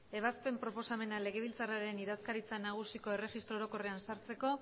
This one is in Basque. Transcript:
ebazpen proposamenak legebiltzarraren idazkaritza nagusiko erregistro orokorrean sartzeko